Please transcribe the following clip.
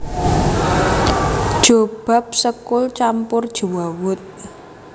Jobab sekul campur jewawut